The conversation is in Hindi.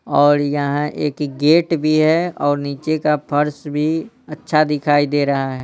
और यहाँ एक गेट भी हैऔर नीचे का फर्श भी अच्छा दिखाई दे रहा है।